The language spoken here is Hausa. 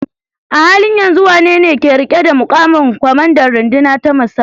A halin yanzu wanene ke riƙe da muƙamin kwamandan runduna ta musamman?